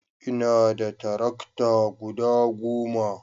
ina da tarakta guda goma